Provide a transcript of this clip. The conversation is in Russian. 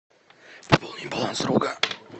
пополни баланс друга